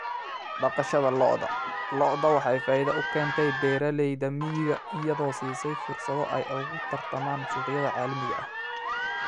Dhaqashada lo'da lo'da waxay faa'iido u keentay beeralayda miyiga iyadoo siisay fursado ay ugu tartamaan suuqyada caalamiga ah.